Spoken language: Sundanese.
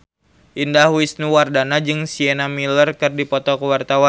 Indah Wisnuwardana jeung Sienna Miller keur dipoto ku wartawan